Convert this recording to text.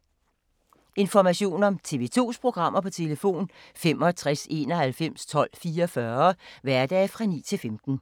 Information om TV 2's programmer: 65 91 12 44, hverdage 9-15.